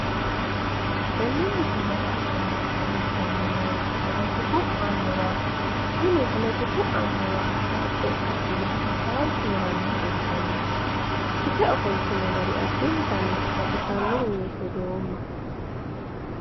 Tenne misilete aana leeltanni noori politiku annuwaati, tini politiku annuwi hasaabbe ka'inohu hasaawi hee'rannoha ikkanna ikkite ofoltino gari addintanni baxissannoho yee hedoomma.